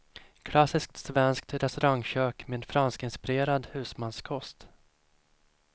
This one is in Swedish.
Klassiskt svenskt restaurangkök med franskinspirerad husmanskost.